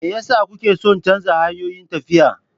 Me yasa kuke son canza hanyoyin tafiya.